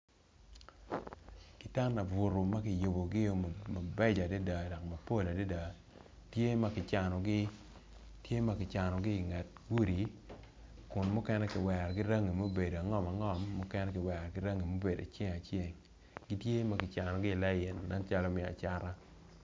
I kan laburu makiyubogi o mabeco adada dok mabeco adada tye makicanogi i nget gudi kun mukene kiwero ki rangi ma obedo angom angom mukene kiwerogi ki kala ma obedo aceng aceng gitye magicanogi i lain nen calo me acata.